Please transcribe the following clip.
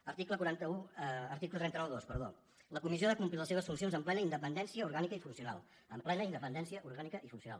article tres cents i noranta dos la comissió ha de complir les seves funcions amb plena independència orgànica i funcional amb plena independència orgànica i funcional